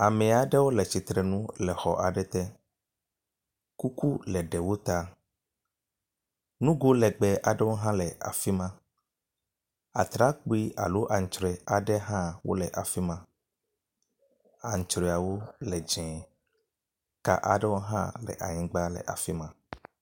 Ame aɖewo le tsitre nu le xɔ aɖe te. Kuku le ɖewo ta. Nugo legbẽ ɖewo hã le afi ma. Atrakpui alo aŋtrɔe ɖewo hã le afi ma. Aŋtrɔewo le dzɛ̃e ka aɖewo hã le anyigba le afi ma.